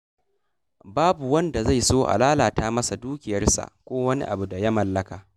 Babu wanda zai so a lalata masa dukiyarsa ko wani abu da ya mallaka.